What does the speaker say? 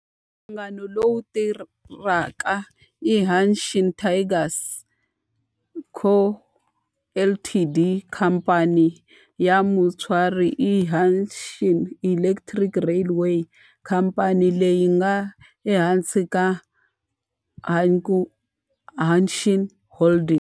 Nhlangano lowu tirhaka i Hanshin Tigers Co., Ltd. Khamphani ya mutswari i Hanshin Electric Railway, khamphani leyi nga ehansi ka Hankyu Hanshin Holdings.